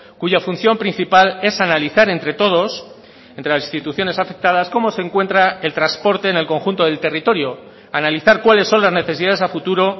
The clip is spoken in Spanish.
cuya función principal es analizar entre todos entre las instituciones afectadas cómo se encuentra el transporte en el conjunto del territorio analizar cuáles son las necesidades a futuro